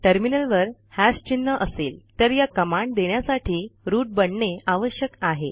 टर्मिनलवर हॅश चिन्ह असेल तर या कमांड देण्यासाठी रूट बनणे आवश्यक आहे